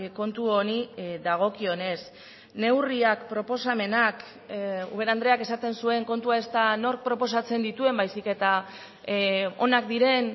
kontu honi dagokionez neurriak proposamenak ubera andreak esaten zuen kontua ez da nork proposatzen dituen baizik eta onak diren